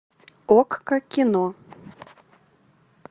окко кино